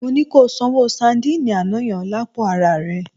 Mo ní kí o sanwó sadíìnì àná yẹn lápò araà rẹ.